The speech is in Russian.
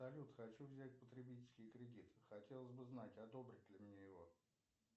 салют хочу взять потребительский кредит хотелось бы знать одобрят ли мне его